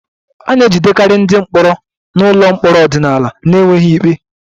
A na-ejidekarị ndị mkpọrọ nọ n'ụlọ mkpọrọ ọdịnala n'enweghị ikpe